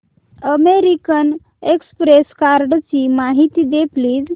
American express कार्डची माहिती दे प्लीज